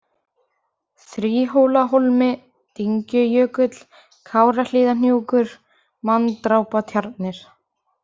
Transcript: Þríhólahólmi, Dyngjujökull, Kárahlíðarhnjúkur, Manndrápatjarnir